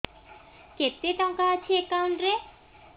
କେତେ ଟଙ୍କା ଅଛି ଏକାଉଣ୍ଟ୍ ରେ